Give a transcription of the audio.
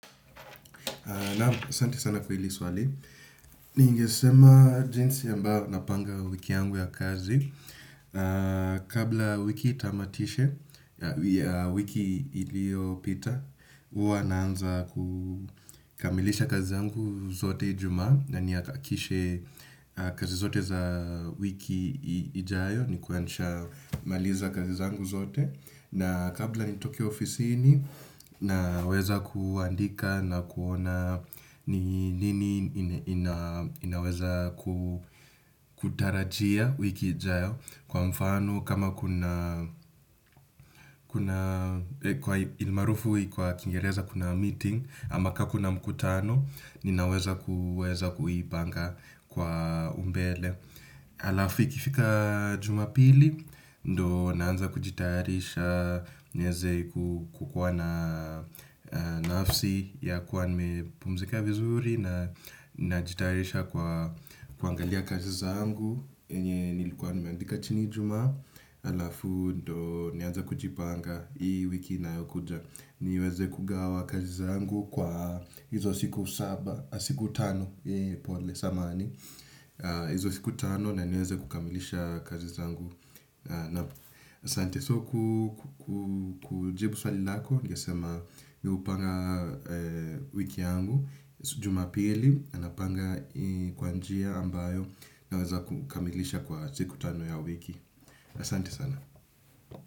Naam, asante sana kwa hili swali. Ningesema jinsi ambao napanga wiki yangu ya kazi kabla wiki itamatishe wiki iliopita hua naanza kukamilisha kazi zangu zote Ijumaa na nihakikishe kazi zote za wiki ijayo nikue nishamaliza kazi zangu zote. Na kabla nitoke ofisini naweza kuandika na kuona ni nini ina naweza kutarajia wiki ijayo kwa mfano kama kuna kuna ilmaarufu kwa kingereza kuna meeting ama kaa kuna mkutano ninaweza kuipanga kwa umbele. Alafu ikifika Jumapili ndo naanza kujitayarisha niezei kukuwa na nafsi ya kua nimepumzika vizuri na najitayarisha kwa kuangalia kazi zangu yenye nilikuwa nimeandika chini Ijumaa alafu ndo nianze kujipanga hii wiki inayokuja niweze kugawa kazi zangu kwa hizo siku saba siku tano pole sana samahani izo siku tano na niweze kukamilisha kazi zangu na sante soku kujibu swali nako. Ningesema mi hupanga wiki yangu. Jumapili anapanga kwa njia ambayo naweza kukamilisha kwa siku tano ya wiki na asante sana.